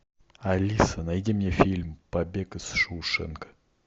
алиса найди мне фильм побег из шоушенка